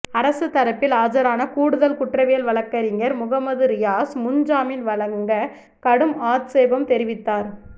அரசு தரப்பில் ஆஜரான கூடுதல் குற்றவியல் வழக்கறிஞர் முகமது ரியாஸ் முன்ஜாமீன் வழங்க கடும் ஆட்சேபம் தெரிவித்தார்